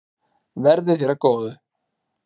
Verði þér að góðu.